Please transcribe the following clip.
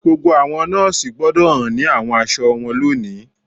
Gbogbo àwọn nọọsi gbọdọ̀ hàn ni àwọn aṣọ wọn lónìí